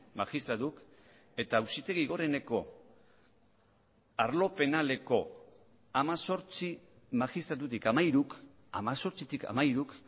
magistratuk eta auzitegi goreneko arlo penaleko hemezortzi magistratutik hamairuk hemezortzitik hamairuk